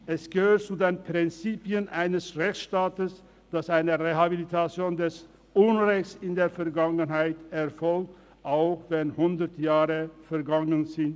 Es gehört zu den Prinzipien eines Rechtsstaats, dass eine Rehabilitation aufgrund des Unrechts in der Vergangenheit erfolgt, auch wenn hundert Jahre vergangen sind.